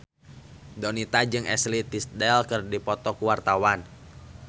Donita jeung Ashley Tisdale keur dipoto ku wartawan